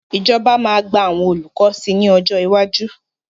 Ìjọba máa gba àwọn olùkọ́ sí ní ọjọ́ iwájú.